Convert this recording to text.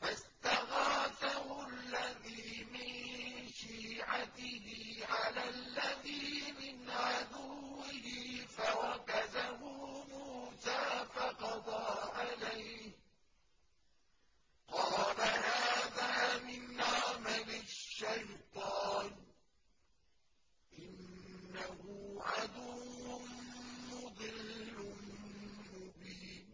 فَاسْتَغَاثَهُ الَّذِي مِن شِيعَتِهِ عَلَى الَّذِي مِنْ عَدُوِّهِ فَوَكَزَهُ مُوسَىٰ فَقَضَىٰ عَلَيْهِ ۖ قَالَ هَٰذَا مِنْ عَمَلِ الشَّيْطَانِ ۖ إِنَّهُ عَدُوٌّ مُّضِلٌّ مُّبِينٌ